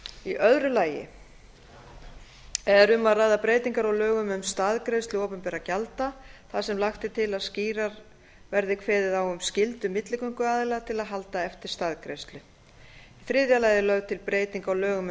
í öðru lagi er um að ræða breytingar á lögum um staðgreiðslu opinberra gjalda þar sem lagt er til að skýrar verði kveðið á um skyldu milligönguaðila til að halda eftir staðgreiðslu í þriðja lagi er lögð til breyting á lögum um